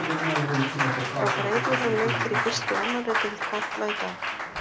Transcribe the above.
Þá fara einnig fram leikir í fyrstu og annarri deild karla í dag.